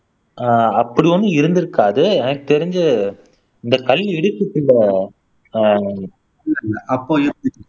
ஆஹ் அப்படி ஒன்னும் இருந்திருக்காது எனக்கு தெரிஞ்சு இந்த கல் இடுக்குக்குள்ள ஆஹ்